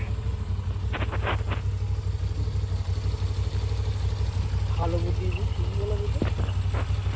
ভালো বুদ্ধি দিয়েছো ঠিকই বলেছে তো